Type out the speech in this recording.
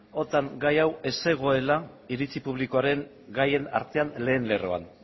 otan gai hau ez zegoela iritzi publikoaren gaien artean lehen lerroan